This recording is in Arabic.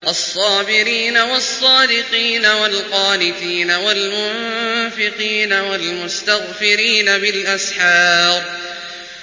الصَّابِرِينَ وَالصَّادِقِينَ وَالْقَانِتِينَ وَالْمُنفِقِينَ وَالْمُسْتَغْفِرِينَ بِالْأَسْحَارِ